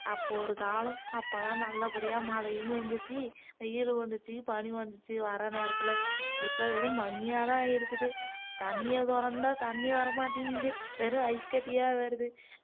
அப்போ ஒரு காலம் அப்போ எல்லாம் நல்லபடியா மழையும் பெஞ்சுச்சு வெயிலும் வந்துச்சு பனி வந்துச்சு வர்ற நேரத்துல இப்போ வெறும் பனியா தான் இருக்குது தண்ணிய தொறந்தா தண்ணி வரமாட்டேங்குது வெறும் ஐஸ் கட்டியா வருது